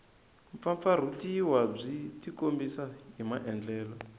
mpfampfarhutiwa byi tikombisa hi maandlalelo